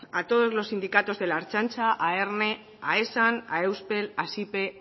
a todos los sindicatos de la ertzaintza a erne a esan a euspel a sipe